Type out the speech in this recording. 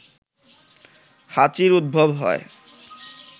হাঁচির উদ্ভব হয়